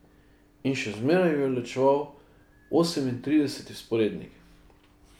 In še zmeraj ju je ločeval osemintrideseti vzporednik.